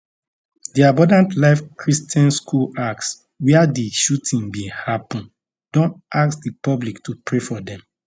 di abundant life christian school alcs wia di shooting bin happun don ask di public to pray for dem